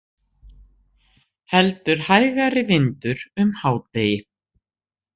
Heldur hægari vindur um hádegi